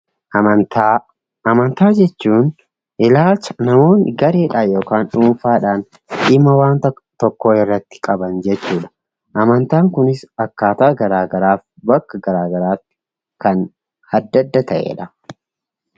Amantaa jechuun ilaalcha namoonni gareedhaan yookiin dhuunfaadhaan dhimma wanta tokkoo irratti qaban jechuudha. Amantaan kunis akkaataa garaagaraaf kan adda adda ta'edha.